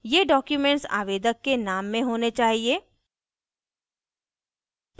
ये documents आवेदक के name में होने चाहिए